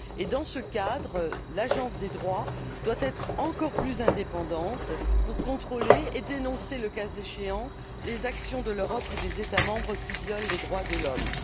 Dans ce cadre, l'Agence des droits doit être encore plus indépendante pour contrôler et dénoncer, le cas échéant, les actions de l'Europe ou des États membres qui violent les droits de l'homme.